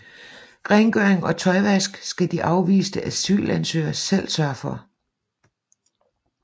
Rengøring og tøjvask skal de afviste asylansøgere selv sørge for